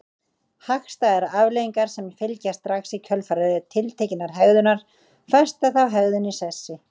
Hagstæðar afleiðingar sem fylgja strax í kjölfar tiltekinnar hegðunar festa þá hegðun í sessi.